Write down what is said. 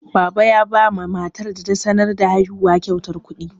Baba yaba matar da ta sanar da haihuwan kyautar kuɗi.